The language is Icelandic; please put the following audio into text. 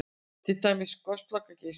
Til dæmis Gosloka-Geysir?